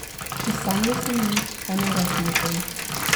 Še sanjalo se mi ni, kaj naj rečem o tem.